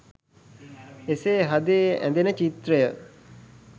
එසේ හදේ ඇඳෙන චිත්‍රය